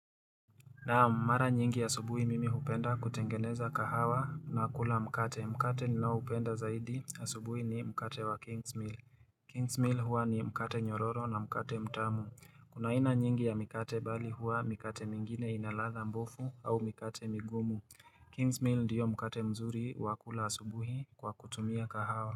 Naam mara nyingi asubuhi mimi hupenda kutengeneza kahawa na kula mkate. Mkate ninao upenda zaidi ya asubuhi ni mkate wa King's Mill. King's Mill huwa ni mkate nyororo na mkate mtamu. Kuna aina nyingi ya mkate bali huwa mkate mingine ina ladha mbovu au mkate migumu. King's Mill ndiyo mkate mzuri wa kula asubuhi kwa kutumia kahawa.